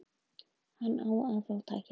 Hann á að fá tækifæri.